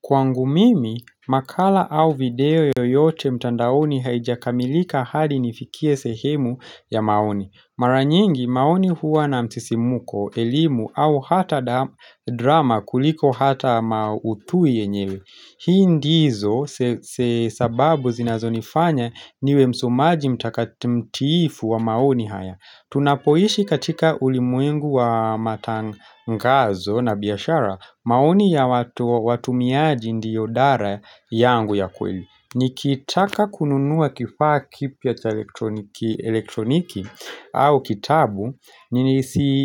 Kwangu mimi, makala au video yoyote mtandaoni haijakamilika hadi nifikie sehemu ya maoni. Mara nyingi maoni huwa na msisimuko, elimu au hata drama kuliko hata maudhui yenyewe. Hii ndizo sababu zinazonifanya niwe msomaji mtakati mtiifu wa maoni haya. Tunapoishi katika ulimwengu wa matangazo na biashara. Maoni ya watumiaji ndiyo dara yangu ya kweli. Nikitaka kununua kifaa kipya elektroniki au kitabu ni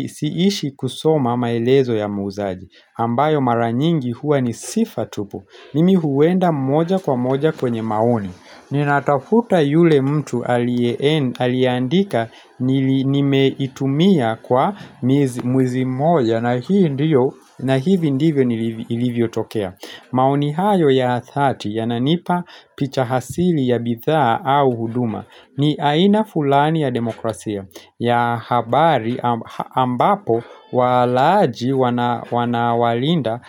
siishi kusoma maelezo ya muuzaji ambayo mara nyingi huwa ni sifa tupu mimi huenda moja kwa moja kwenye maoni. Ninatafuta yule mtu aliandika nimeitumia kwa miezi mwezi mmoja na hii ndiyo na hivi ndivyo iilivyo tokea. Maoni hayo ya dhati yananipa picha asili ya bidhaa au huduma. Ni aina fulani ya demokrasia ya habari ambapo walaji wana walinda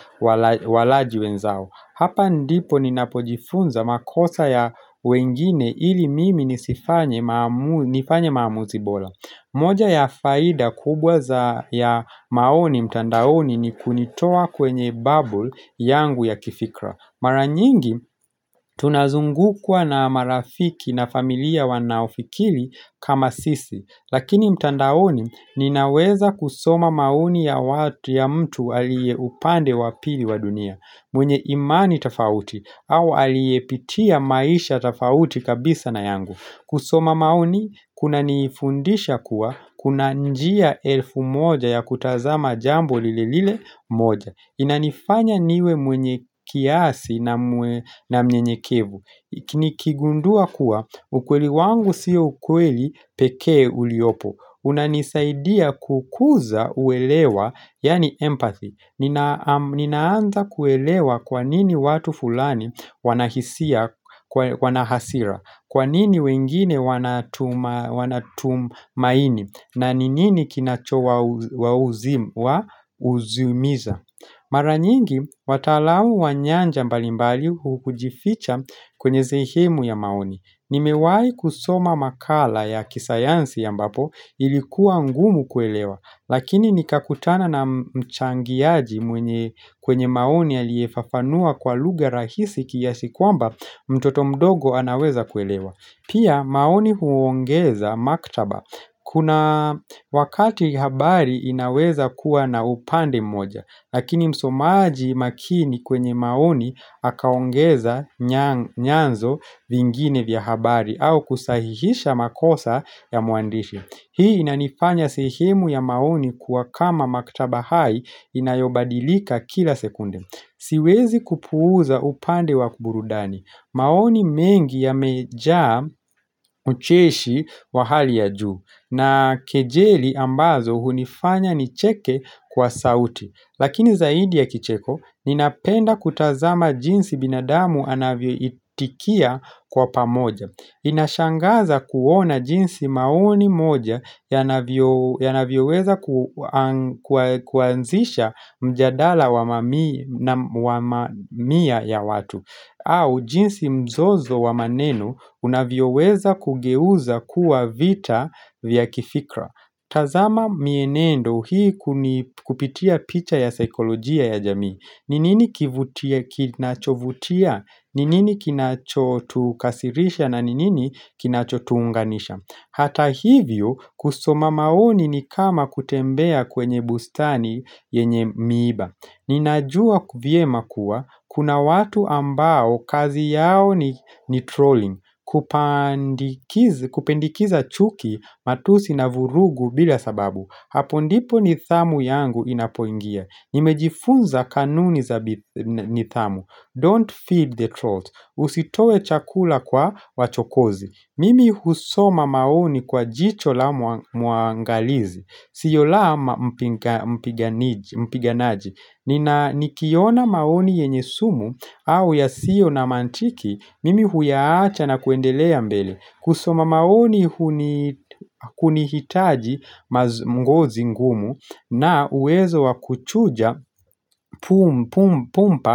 walaji wenzao. Hapa ndipo ninapojifunza makosa ya wengine ili mimi nisifanye nifanye maamuzi bora. Moja ya faida kubwa za ya maoni mtandaoni ni kunitoa kwenye bubble yangu ya kifikra. Mara nyingi tunazungukwa na marafiki na familia wanaofikiri kama sisi. Lakini mtandaoni ninaweza kusoma maoni ya watu ya mtu aliye upande wa pili wa dunia. Mwenye imani tofauti au aliyepitia maisha tofauti kabisa na yangu. Kusoma maoni kunanifundisha kuwa kuna njia elfu moja ya kutazama jambo lile lile moja. Inanifanya niwe mwenye kiasi na mwenye mnyenyekevu. Ki nikigundua kuwa ukweli wangu sio ukweli pekee uliopo unanisaidia kukuza uelewa yaani empathy. Ninaanza kuelewa kwa nini watu fulani wana hisia wana hasira. Kwa nini wengine wana tumaini. Na ni nini kinachowa huzunisha. Mara nyingi wataalamu wa nyanja mbalimbali hujificha kwenye sehemu ya maoni. Nimewai kusoma makala ya kisayansi ambapo ilikuwa ngumu kuelewa. Lakini nikakutana na mchangiaji mwenye kwenye maoni aliyefafanua kwa lugha rahisi kiasi kwamba mtoto mdogo anaweza kuelewa. Pia maoni huongeza maktaba kuna wakati habari inaweza kuwa na upande moja. Lakini msomaji makini kwenye maoni akaongeza nyanzo vingine vya habari au kusahihisha makosa ya muandishi. Hii inanifanya sehemu ya maoni kuwa kama maktaba hai inayobadilika kila sekunde. Siwezi kupuuza upande wa burudani. Maoni mengi yamejaa ucheshi wa hali ya juu. Na kejeli ambazo hunifanya nicheke kwa sauti. Lakini zaidi ya kicheko ninapenda kutazama jinsi binadamu anavyoitikia kwa pamoja. Inashangaza kuona jinsi maoni moja yanavyo weza kuanzisha mjadala wa mamia ya watu au jinsi mzozo wa maneno unavyo weza kugeuza kuwa vita vya kifikra. Tazama mienendo hii kupitia picha ya saikolojia ya jamii. Ni nini kinachovutia? Ni nini kinachotukasirisha na ni nini kinachotuunganisha? Hata hivyo kusoma maoni ni kama kutembea kwenye bustani yenye miiba. Ninajua vyema kuwa, kuna watu ambao kazi yao ni trolling. Kupendikeza chuki matusi na vurugu bila sababu hapo ndipo nidhamu yangu inapoingia. Nimejifunza kanuni za nidhamu Don't feed the trolls. Usitoe chakula kwa wachokozi. Mimi husoma maoni kwa jicho la muangalizi. Sio la mpiganaji. Nikiona maoni yenye sumu au yasio na mantiki mimi huyaacha na kuendelea mbele. Kusoma maoni kunihitaji ngozi ngumu na uwezo wa kuchuja pum pum pum pum pa.